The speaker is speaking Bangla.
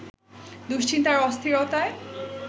দুশ্চিন্তা আর অস্থিরতায়